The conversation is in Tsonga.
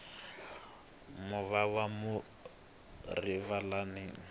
movha wa mufi rivalani